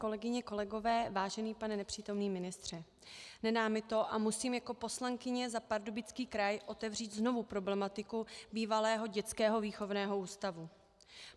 Kolegyně, kolegové, vážený pane nepřítomný ministře, nedá mi to a musím jako poslankyně za Pardubický kraj otevřít znovu problematiku bývalého dětského výchovného ústavu.